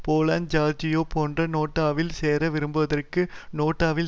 Poland Georgia போன்று நேட்டோவில் சேர விரும்புபவர்கள் நேட்டோவில்